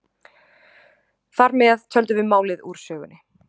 Þar með töldum við málið úr sögunni.